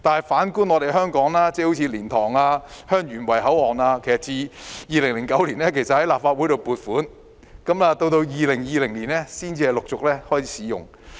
反觀香港，例如蓮塘/香園圍口岸於2009年獲立法會撥款興建，直至2020年才陸續開始使用。